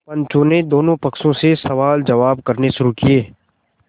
पंचों ने दोनों पक्षों से सवालजवाब करने शुरू किये